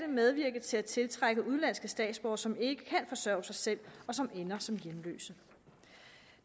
medvirke til at tiltrække udenlandske statsborgere som ikke kan forsørge sig selv og som ender som hjemløse